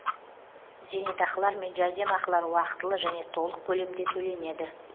зейнетақылар мен жәрдемақылар уақытылы және толық көлемде төленеді